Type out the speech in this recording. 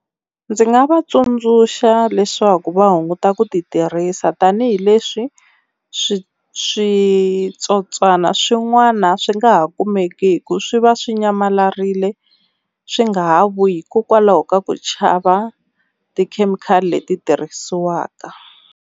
Ndzi nga va tsundzuxa leswaku va hunguta ku ti tirhisa tanihileswi swi switsotswana swin'wana swi nga ha kumeki swi va swi nyamalarile swi nga ha vuyi hikokwalaho ka ku chava tikhemikhali leti tirhisiwaka.